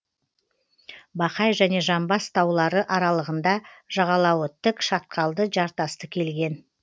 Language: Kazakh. бақай және жамбас таулары аралығында жағалауы тік шатқалды жартасты келген